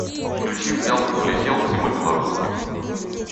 включи взял и полетел тима белорусских